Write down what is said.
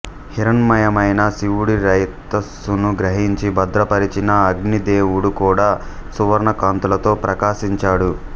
హిరణ్మయమైన శివుడి రేతస్సును గ్రహించి భద్రపరచిన అగ్నిదేవుడు కూడా సువర్ణకాంతులతో ప్రకాశించాడు